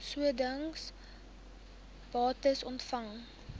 sodanige bates ontvang